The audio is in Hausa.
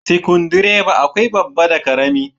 Sikundireba akwai babba da karama.